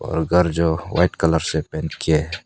घर जो white colour से पेंट किए है।